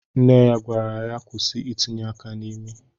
Nne ya gwara ya kwụsị itinye aka n'imi.